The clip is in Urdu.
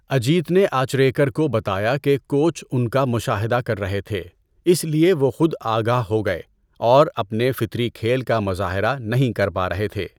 اجیت نے اچریکر کو بتایا کہ کوچ ان کا مشاہدہ کر رہے تھے۔ اس لئے وہ خود آگاہ ہو گئے، اور اپنے فطری کھیل کا مظاہرہ نہیں کر پا رہے تھے۔